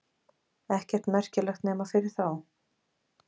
Ekkert merkilegt nema fyrir þá.